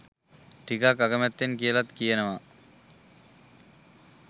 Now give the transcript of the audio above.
ටිකක් අකමැත්තෙන් කියලත් කියනවා.